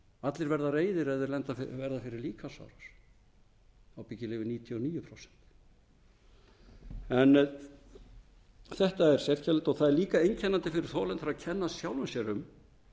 allir verða reiðir ef þeir verða fyrir líkamsárás ábyggilega yfir níutíu og níu prósent en þetta er sérkennilegt það er líka einkennandi fyrir þolendur að kenna sjálfum sér um